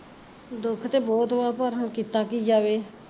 ਦੁਖ ਤੇ ਬਹੁਤ ਵਾ ਪਰ ਹੁਣ ਕੀਤਾ ਕੀ ਜਾਵੇ